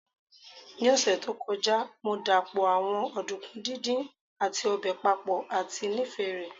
Ni ọsẹ to kọja, Mo dapọ awọn ọdunkun didin ati obe papọ ati nifẹ rẹ